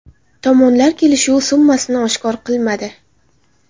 Tomonlar kelishuv summasini oshkor qilmadi.